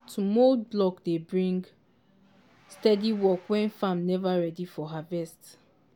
to mould block dey bring steady work when farm never ready for harvest.